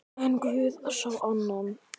En guð sá annað.